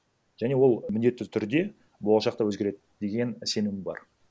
және ол міндетті түрде болашақта өзгереді деген сенім бар